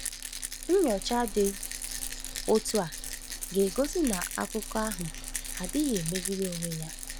Nnyocha dị otu a ga-egosi na akụkọ ahụ anaghị emegide onwe ya.